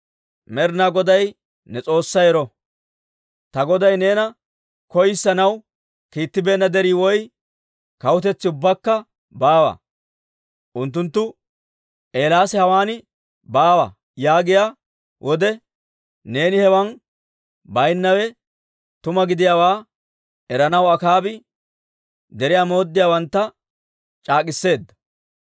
Med'inaa Goday ne S'oossay ero! Ta goday neena koyissanaw kiittibeenna derii woy kawutetsi ubbakka baawa. Unttunttu, ‹Eelaasi hawaan baawa› yaagiyaa wode, neeni hewan baynnawe tuma gidiyaawaa eranaw Akaabi deriyaa mooddiyaawantta c'aak'k'iseedda.